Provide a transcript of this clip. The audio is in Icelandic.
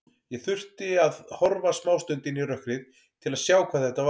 Ég þurfti að horfa smástund inn í rökkrið til að sjá hvað þetta var.